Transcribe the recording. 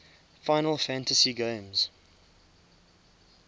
final fantasy games